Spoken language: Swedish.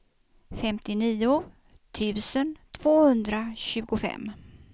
femtionio tusen tvåhundratjugofem